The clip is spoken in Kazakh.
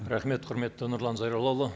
рахмет құрметті нұрлан зайроллаұлы